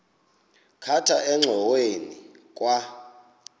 khatha engxoweni kwa